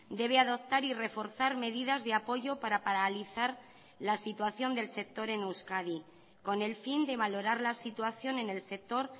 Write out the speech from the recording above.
debe adoptar y reforzar medidas de apoyo para paralizar la situación del sector en euskadi con el fin de valorar la situación en el sector